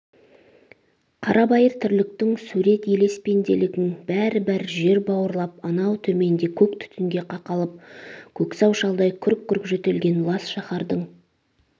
қарабайыр тірліктің сурет-елес пенделігің бәрі-бәрі жер бауырлап анау төменде көк түтінге қақалып көксау шалдай күрк-күрк жөтелген лас шаһардың